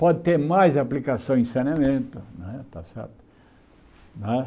Pode ter mais aplicação em saneamento, né está certo? Né